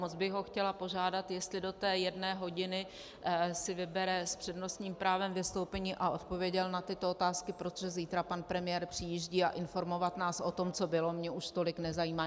Moc bych ho chtěla požádat, jestli do té jedné hodiny si vybere s přednostním právem vystoupení a odpověděl na tyto otázky, protože zítra pan premiér přijíždí, a informovat nás o tom, co bylo, mě už tolik nezajímá.